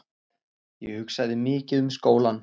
Ég hugsaði mikið um skólann.